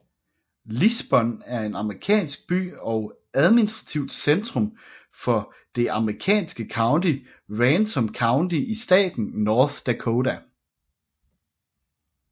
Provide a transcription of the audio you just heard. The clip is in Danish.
Lisbon er en amerikansk by og administrativt centrum for det amerikanske county Ransom County i staten North Dakota